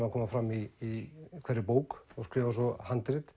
á að koma fram í hverri bók og skrifa handrit